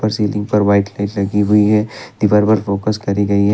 Ceiling पर white light लगी हुयी है दीवार पर फोकस करी गई है।